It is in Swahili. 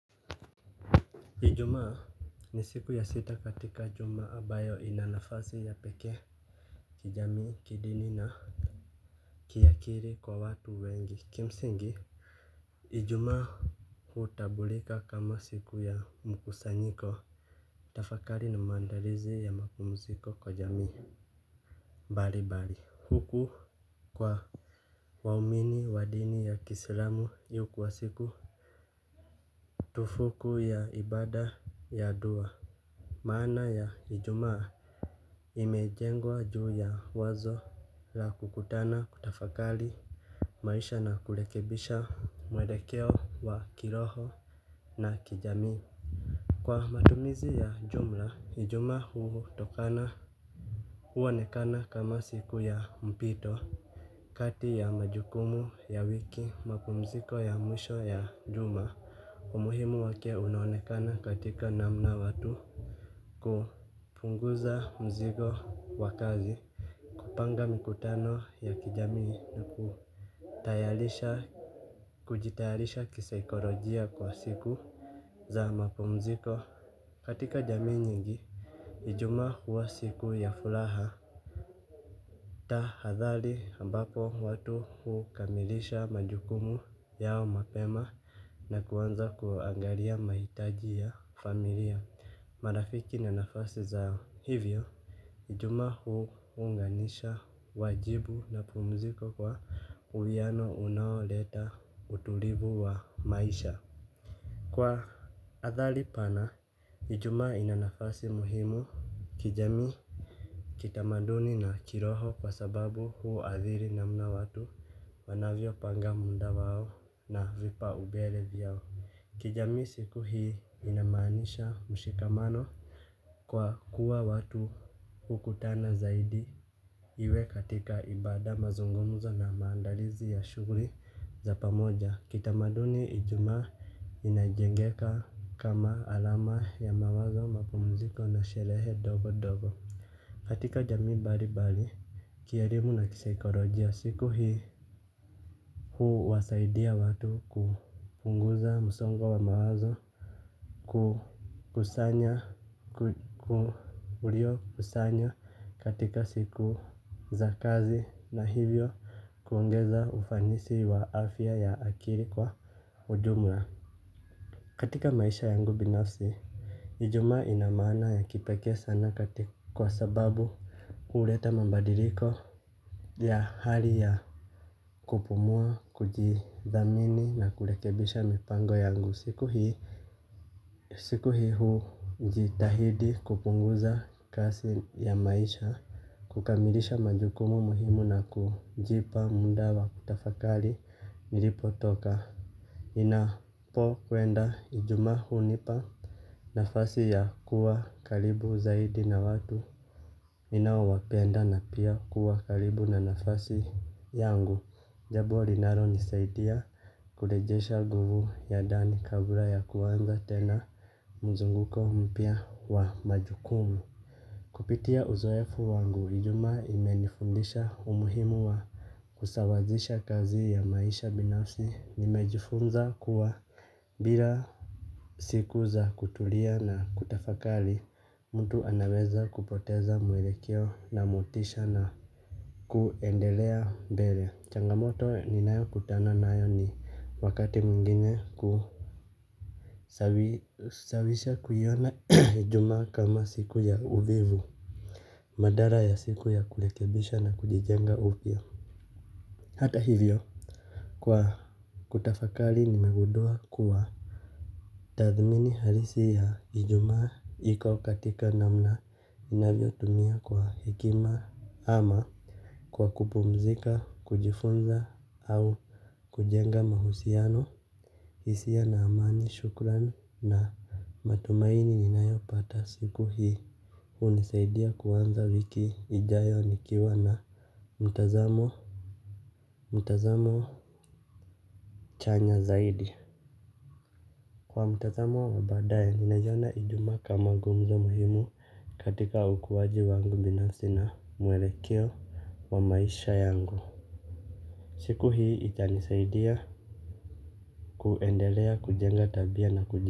Ijuma ni siku ya sita katika juma abayo inanafasi ya peke kijami kidini na kiakiri kwa watu wengi. Kimsingi, ijumaa hutabulika kama siku ya mkusanyiko. Tafakari na maandarizi ya mapumuziko kwa jamii bari bari huku kwa waumini wa dini ya kisilamu yu kuwa siku ndo siku ya ibaada ya dua. Maana ya ijuma imejengwa juu ya wazo la kukutana kutafakali. Maisha na kulekebisha mwelekeo wa kiroho na kijamii. Kwa matumizi ya jumla hijuma huu tokana uonekana kama siku ya mpito. Kati ya majukumu ya wiki mapumziko ya mwisho ya juma umuhimu wake unaonekana katika namna watu kupunguza mzigo wakazi. Kupanga mikutano ya kijamii ni kutayalisha kujitayalisha kisaikolojia kwa siku za mapumziko. Katika jamii nyingi, ijuma huwa siku ya fulaha. Ta hadhali ambapo watu hukamilisha majukumu yao mapema. Na kuanza kuangalia maitaji ya familia. Marafiki na nafasi zao. Hivyo, ijuma huu unganisha wajibu mapumziko kwa uwiano unaoleta utulivu wa maisha. Kwa athali pana, ijuma inanafasi muhimu kijamii. Kitamaduni na kiroho kwa sababu huadhiri namna watu wanavyo panga munda wao na vipaubele vyao. Kijamii siku hii inamaanisha mshikamano. Kwa kuwa watu hukutana zaidi. Iwe katika ibada mazungumzo na maandalizi ya shuguri za pamoja. Kitamaduni ijuma inajengeka kama alama ya mawazo mapumziko na sherehe dogo dogo. Katika jami bari bari kierimu na kisaikorojia siku hii huu wasaidia watu kupunguza musongo wa mawazo. Kusanya katika siku za kazi na hivyo kuongeza ufanisi wa afya ya akiri kwa ujumla. Katika maisha yangu binafsi, ijuma ina maana ya kipeke sana kwa sababu huleta mambadiriko ya hali ya kupumua, kujidhamini na kulekebisha mipango yangu siku hii ujitahidi kupunguza kasi ya maisha kukamilisha majukumu muhimu na kujipa muda wa kutafakari nilipo toka napo kwenda ijuma hunipa nafasi ya kuwa kalibu zaidi na watu ninaowapenda na pia kuwa kalibu na nafasi yangu. Jabo linaro nisaidia kulejesha nguvu ya ndani kabla ya kuanza tena mzunguko mpya wa majukumu. Kupitia uzoefu wangu ijuma imenifundisha umuhimu wa kusawazisha kazi ya maisha binafsi nimejifunza kuwa bila siku za kutulia na kutafakali mtu anaweza kupoteza mwelekeo na motisha na kuendelea mbele changamoto ninayo kutana nayo ni wakati mwingine kusawisha kuiona ijuma kama siku ya uvivu badala ya siku ya kulekebisha na kujijenga upya hata hivyo hutafakari kuwa tadthimini halisi ya ijumaa iko katika namna isia na amani, shukran na matumaini ninayo pata siku hii. Hunisaidia kuanza wiki ijayo nikiwa na mtazamo chanya zaidi. Kwa mtazamo wa badae, ninaiona ijuma kama gumzo muhimu katika ukuwaji wangu binafsi na mwelekeo wa maisha yangu. Siku hii itanisaidia kuendelea kujenga tabia na kujenga.